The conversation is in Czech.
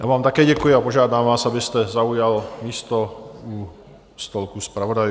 Já vám také děkuji a požádám vás, abyste zaujal místo u stolku zpravodajů.